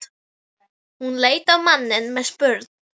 Hún leit á manninn með spurn.